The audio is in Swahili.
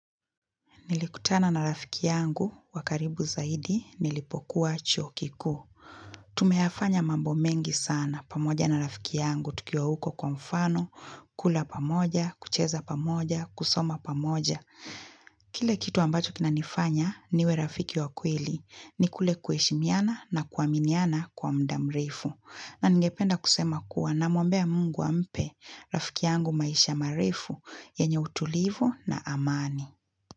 Nilikutana na rafiki yangu, wakaribu zaidi, nilipokuwa chuo kikuu. Tumeyafanya mambo mengi sana, pamoja na rafiki yangu, tukiwa huko kwa mfano, kula pamoja, kucheza pamoja, kusoma pamoja. Kile kitu ambacho kina nifanya, niwe rafiki wakweli, ni kule kuheshimiana na kuaminiana kwa muda mrefu. Na ningependa kusema kuwa na mwombea mungu ampe, rafiki yangu maisha marefu, yenye utulivu na amani.